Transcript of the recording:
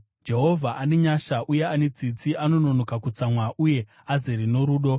Jehovha ane nyasha uye ane tsitsi, anononoka kutsamwa uye azere norudo.